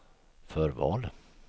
förval